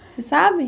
Você sabe?